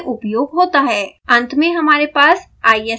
अंत में हमारे पास isp ब्लॉक है